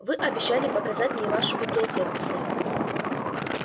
вы обещали показать мне вашу библиотеку сэр